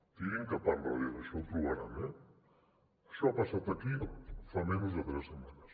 tirin cap endarrere això ho trobaran eh això ha passat aquí fa menys de tres setmanes